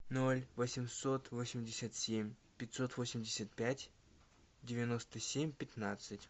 ноль восемьсот восемьдесят семь пятьсот восемьдесят пять девяносто семь пятнадцать